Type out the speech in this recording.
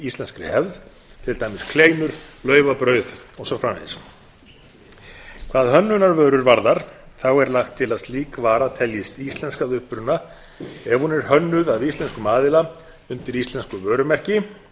íslenskri hefð svo sem kleinur laufabrauð og svo framvegis hvað hönnunarvörur varðar þá er lagt til að slík vara teljist íslensk að uppruna ef hún er hönnuð af íslenskum aðila undir íslensku vörumerki